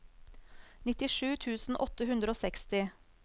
nittisju tusen åtte hundre og seksti